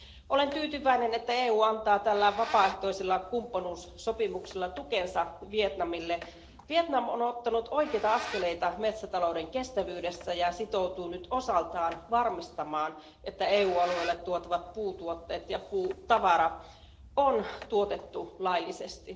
Olen tyytyväinen, että EU antaa tällä vapaaehtoisella kumppanuussopimuksella tukensa Vietnamille. Vietnam on ottanut oikeita askeleita metsätalouden kestävyydessä ja sitoutuu nyt osaltaan varmistamaan, että EU alueelle tuotavat puutuotteet ja puutavara on tuotettu laillisesti.